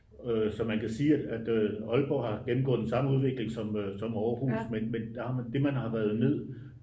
så man kan sige at aalborg har gennemgået den samme udvikling som aarhus men det man har været nød